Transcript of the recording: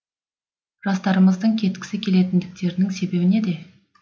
жастарымыздың кеткісі келетіндіктерінің себебі неде